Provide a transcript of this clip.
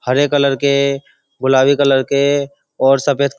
हरे colour के गुलाबी colour के और सफेद --